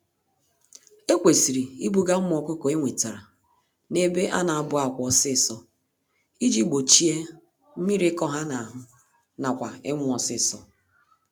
Ekwesịrị ibuga ụmụ ọkụkọ ewetara n'ebe ana abụ-àkwà ọsịsọ, iji gbochie mmírí ịkọ ha n'ahụ, nakwa ịnwụ ọsịsọ.